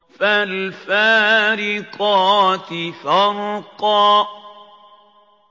فَالْفَارِقَاتِ فَرْقًا